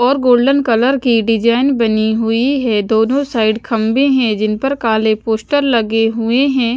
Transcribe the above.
और golden colour की design बनी हुई है दोनों साइड खम्बे है जिन पर काले पोस्टर लगे हुए है।